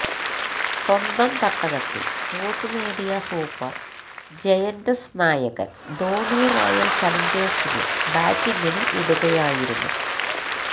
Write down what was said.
സ്വന്തം തട്ടകത്തിൽ ടോസ് നേടിയ സൂപ്പർ ജയന്റ്സ് നായകൻ ധോണി റോയൽ ചലഞ്ചേഴ്സിനെ ബാറ്റിങ്ങിനു വിടുകയായിരുന്നു